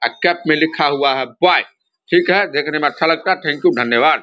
अ cap में लिखा हुआ है बॉय ठीक है देखने में अच्छा लगता है थैंक यू धन्यवाद।